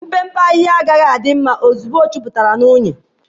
Mpempe ahịhịa agaghị adị mma ozugbo ọ juputara na unyi.